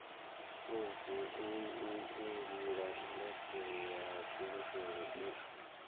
langula indasiṱiri ya mafulufulu u